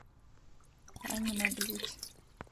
аниме блич